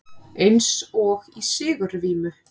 Eins og í sigurvímu.